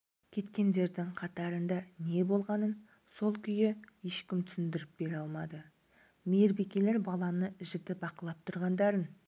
кеткендердің қатарында не болғанын сол күйі ешкім түсіндіріп бере алмады мейірбикелер баланы жіті бақылап тұрғандарын